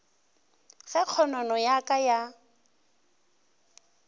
ge kgonono ya ka ya